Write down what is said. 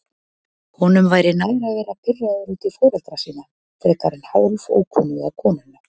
Honum væri nær að vera pirraður út í foreldra sína frekar en hálfókunnuga konuna.